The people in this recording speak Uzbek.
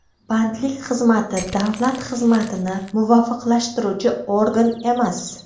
Bandlik xizmati davlat xizmatini muvofiqlashtiruvchi organ emas.